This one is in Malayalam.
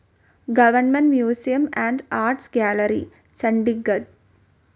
government museum and art gallery, Chandigarh